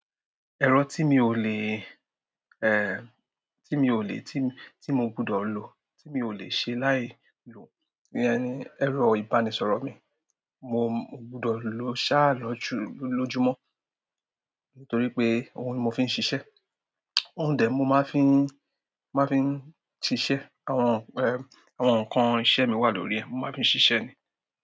Ẹ̀rọ tí mi ò lè, eh, tí mi ò lè, tí, tí mo gbọdọ̀ lò, tí mi ò lè ṣe láì lò ni ẹni, ẹ̀rọ ìbánisọ̀rọ̀ mi. Mo gbọdọ̀ lò ṣáà lọ jù lójúmọ́ nítorí pé òun ni mo fi ń ṣiṣẹ́. Oún de mo máa ń fi, máa fi ń ṣiṣẹ́. Àwọn, ẹ, àwọn nǹkan iṣẹ́ mi wà lórí ẹ̀, mo máa fi ń ṣiṣẹ́ ni.